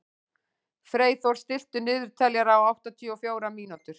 Freyþór, stilltu niðurteljara á áttatíu og fjórar mínútur.